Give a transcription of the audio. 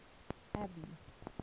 abby